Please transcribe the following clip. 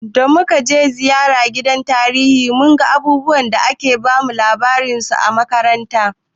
Da muka kai ziyara gidan tarihi mun ga abubuwan da ake bamu labarin su a makaranta.